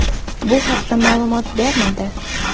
Bu haqda ma’lumot bermadi.